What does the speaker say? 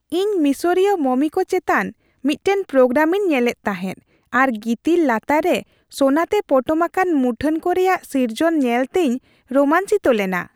ᱤᱧ ᱢᱤᱥᱚᱨᱤᱭᱚ ᱢᱚᱢᱤ ᱠᱚ ᱪᱮᱛᱟᱱ ᱢᱤᱫᱴᱟᱝ ᱯᱨᱳᱜᱨᱟᱢᱤᱧ ᱧᱮᱞᱮᱫ ᱛᱟᱦᱮᱸᱫ ᱟᱨ ᱜᱤᱛᱤᱞ ᱞᱟᱛᱟᱨ ᱨᱮ ᱥᱳᱱᱟᱛᱮ ᱯᱚᱴᱚᱢ ᱟᱠᱟᱱ ᱢᱩᱴᱷᱟᱹᱱ ᱠᱚ ᱨᱮᱭᱟᱜ ᱥᱤᱨᱡᱚᱱ ᱧᱮᱞᱛᱮᱧ ᱨᱳᱢᱟᱧᱪᱤᱛᱚ ᱞᱮᱱᱟ ᱾